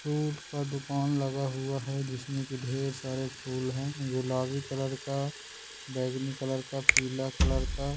फूल का दुकान लगा हुआ है जिसमे की ढेर सारी फूल है गुलाबी कलर का बैगनी कलर का पीला कलर का --